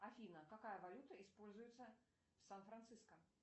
афина какая валюта используется в сан франциско